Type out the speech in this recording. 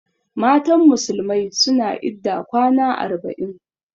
Matan musulmai suna idda kwana arba'in.